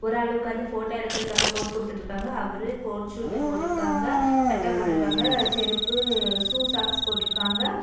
ஒரு ஆள் உக்காந்து போட்டோ எடுக்குறதுக்காக போஸ் குடுத்துட்டிருக்காங்க அவரு கோட் சூட் போட்டிருக்காங்க சட்டை போட்டிருக்காங்க செருப்பு ஷூ சாக்ஸ் போட்டிருக்காங்க.